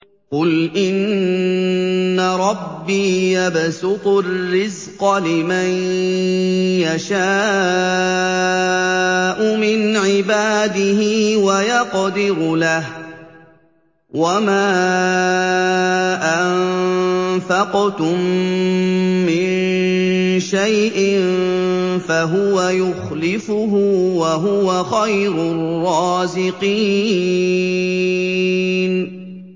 قُلْ إِنَّ رَبِّي يَبْسُطُ الرِّزْقَ لِمَن يَشَاءُ مِنْ عِبَادِهِ وَيَقْدِرُ لَهُ ۚ وَمَا أَنفَقْتُم مِّن شَيْءٍ فَهُوَ يُخْلِفُهُ ۖ وَهُوَ خَيْرُ الرَّازِقِينَ